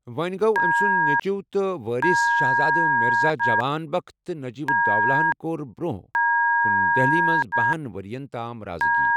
وۄں گوٚو أمۍ سٕنٛدِ نیٚچِو تہٕ وٲرِث شہزادٕ مرزا جوان بخت تہٕ نجیب الدولہ ہن کٔر برۄنٛہہ کُن دہلی منٛز بَہنَ ؤرۍ ین تام رازٕگی۔